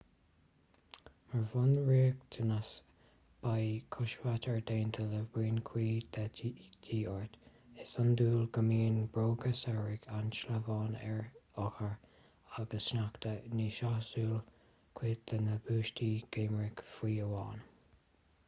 mar bhunriachtanas beidh coisbheart déanta le boinn chuí de dhíth ort is iondúil gó mbíonn bróga samhraidh an-sleamhain ar oighear agus sneachta ní sásúil cuid de na buataisí geimhridh fiú amháin